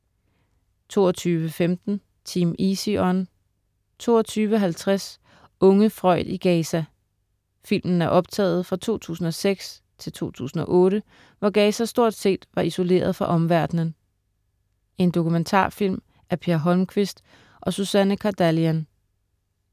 22.15 Team Easy On 22.50 Unge Freud i Gaza. Filmen er optaget fra 2006 til 2008, hvor Gaza stort set var isoleret fra omverdenen. En dokumentarfilm af Per Holmquist og Suzanne Khardalian